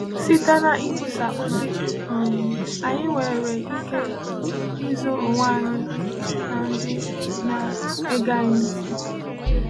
Site n’ikwusà ozi, um anyị nwere ike ịzọ onwe anyị na ndị na-ege anyị ntị.